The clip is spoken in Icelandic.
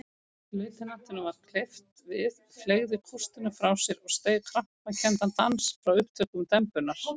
Lautinantinum varð hverft við, fleygði kústinum frá sér og steig krampakenndan dans frá upptökum dembunnar.